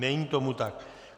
Není tomu tak.